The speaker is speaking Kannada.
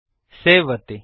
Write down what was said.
ಸೇವ್ ಒತ್ತಿ